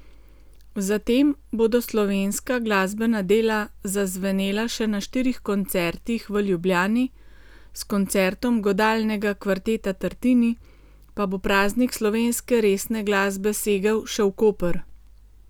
Zatem bodo slovenska glasbena dela zazvenela še na štirih koncertih v Ljubljani, s koncertom Godalnega kvarteta Tartini pa bo praznik slovenske resne glasbe segel še v Koper.